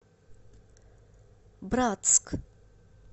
братск